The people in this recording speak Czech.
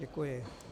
Děkuji.